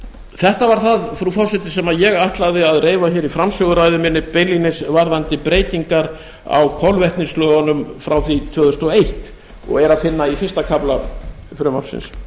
þetta var það frú forseti sem ég ætlaði að reifa hér í framsöguræðu minni beinlínis varðandi breytingar á kolvetnislögunum frá því tvö þúsund og eins og er að finna í fyrsta kafla frumvarpsins